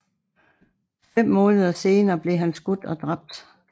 Fem måneder senere blev han skudt og dræbt